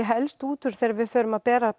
helst útúr þegar við förum að bera